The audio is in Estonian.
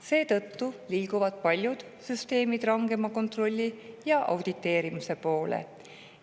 Seetõttu liiguvad paljud süsteemid rangema kontrolli ja auditeerimise poole.